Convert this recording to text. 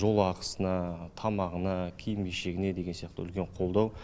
жол ақысына тамағына киім кешегіне деген сияқты үлкен қолдау